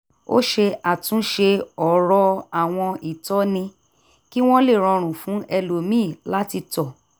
ó ṣe àtúnṣe ọ̀rọ̀ àwọn ìtọ́ni kí wọ́n lè rọrùn fún èlòmíì láti tọ̀